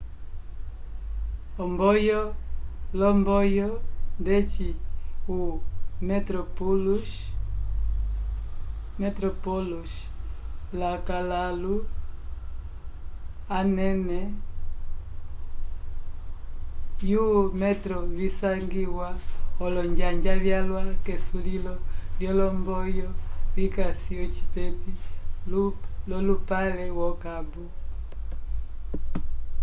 omboyo l'omboyo ndeci o metroplus lakãlu anene vyo metro visangiwa olonjanja vyalwa k'esulilo lyolomboyo vikasi ocipepi l'olupale wo cabo